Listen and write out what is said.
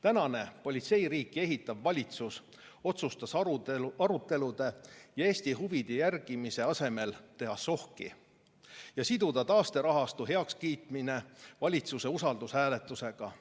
Tänane politseiriiki ehitav valitsus otsustas arutelude ja Eesti huvide järgimise asemel teha sohki ja siduda taasterahastu heakskiitmine valitsuse usaldushääletusega